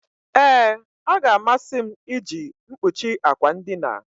Ee, ọ ga-amasị m iji mkpuchi akwa ndina.